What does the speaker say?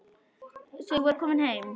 Þau voru komin heim.